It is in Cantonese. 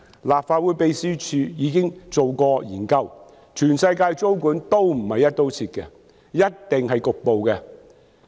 立法會秘書處已經進行研究，全世界的租管都不是"一刀切"的，一定是局部的。